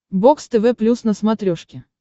бокс тв плюс на смотрешке